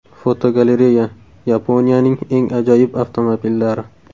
Fotogalereya: Yaponiyaning eng ajoyib avtomobillari.